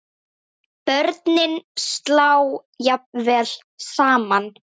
Börnin slá jafnvel saman.